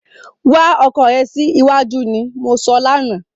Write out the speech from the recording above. Wá ọkọ rè síwájú ni mo sọ lánàá